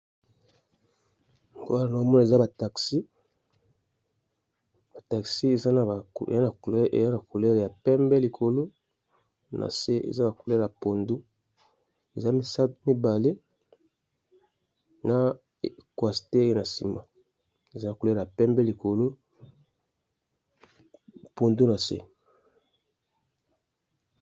Namoni ba taxi eza na ba couleur ya pembe likolo nasi ya pondu eza mibale na coaster na sima eza na couleur pembe likolo nase pondu.